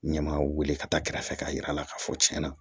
N ɲɛ ma weele ka taa kɛrɛfɛ k'a yira a la k'a fɔ tiɲɛ na